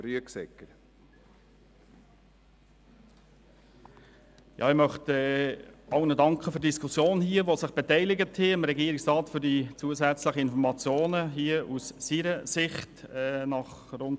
Ich möchte allen im Saal, die sich an der Diskussion beteiligt haben, und dem Regierungsrat für die zusätzlichen Informationen aus seiner Sicht danken.